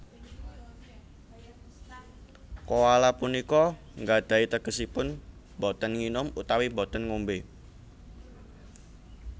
Koala punika nggadhahi tegesipun boten nginum utawi boten ngombé